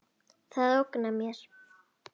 Það ógnar mér.